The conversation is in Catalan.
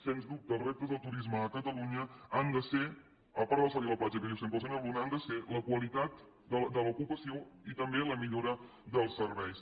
sens dubte els reptes del turisme a catalunya han de ser a part del sol i la platja que diu sempre el senyor luna la qualitat de l’ocupació i també la millora dels serveis